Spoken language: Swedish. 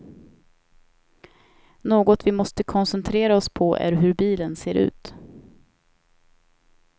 Något vi måste koncentrera oss på är hur bilen ser ut.